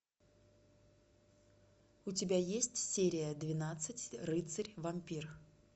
у тебя есть серия двенадцать рыцарь вампир